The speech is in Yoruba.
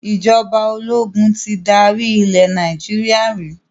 Ìjọba ológun tí dárí ilẹ̀ Nàìjíríà rí